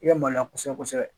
I ka maloya kosɛbɛ kosɛbɛ